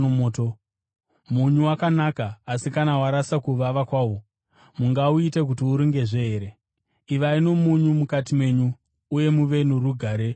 “Munyu wakanaka, asi kana warasa kuvava kwawo, mungauita kuti urungezve here? Ivai nomunyu mukati menyu, uye muve norugare pakati penyu.”